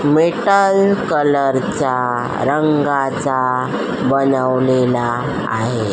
Metal कलरचा रंगाचा बनवलेला आहे.